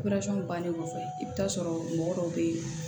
bannen kɔfɛ i bɛ taa sɔrɔ mɔgɔ dɔ bɛ yen